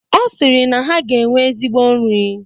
Ọ sịrị na ha ga-enwe ezigbo nri.